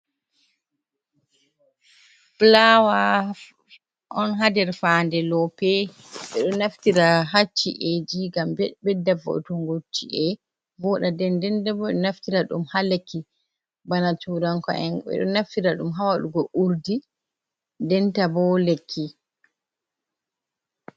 Fulaawa on haa nder fayannde loope, ɓe ɗo naftira haa ci’eeji ngam ɓedda vo`utunngo ci`e vooɗa. Ndenndenta bo ɓe ɗo naftira ɗum haa lekki. Bana tuuranko’en ɓe ɗo naftira ɗum haa waɗugo urdi be nanta bo lekki.